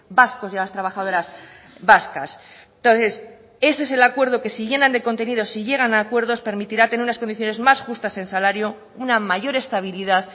vascos y a las trabajadoras vascas entonces ese es el acuerdo que si llenan de contenido si llegan a acuerdos permitirá tener unas condiciones más justas en salario una mayor estabilidad